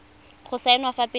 go saenwa fa pele ga